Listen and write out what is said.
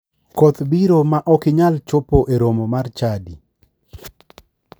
Koth biro ma ok anyal chopo e romo mar chadi.